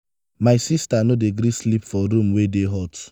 my sista no dey gree sleep for room wey dey hot.